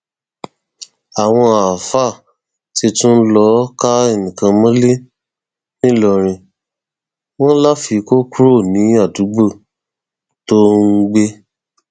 àwọn àáfàá ti tún lọọ ká ẹnìkan mọlẹ nìlọrin wọn láfi kó kúrò ní àdúgbò tó ń gbé